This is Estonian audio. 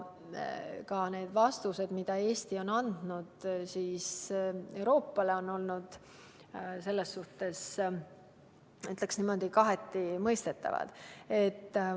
Ka vastused, mida Eesti on andnud Euroopale, on olnud n-ö kaheti mõistetavad.